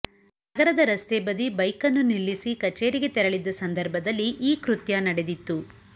ನಗರದ ರಸ್ತೆ ಬದಿ ಬೈಕನ್ನು ನಿಲ್ಲಿಸಿ ಕಚೇರಿಗೆ ತೆರಳಿದ್ದ ಸಂದರ್ಭದಲ್ಲಿ ಈ ಕೃತ್ಯ ನಡೆದಿತ್ತು